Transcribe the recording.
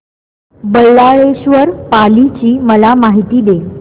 बल्लाळेश्वर पाली ची मला माहिती दे